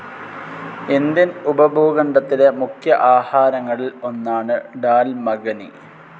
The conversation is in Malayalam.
ഇന്ത്യൻ ഉപഭൂഖണ്ഡത്തിലെ മുഖ്യ ആഹാരങ്ങളിൽ ഒന്നാണ് ഡാൽ മഖനി.